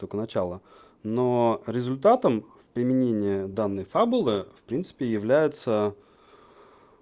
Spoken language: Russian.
только начало но результатом применения данной фабулы в принципе является